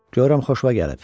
Görürəm xoşuna gəlib.